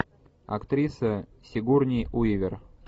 актриса сигурни уивер